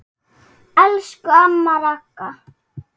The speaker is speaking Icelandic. Elsku amma Ragga.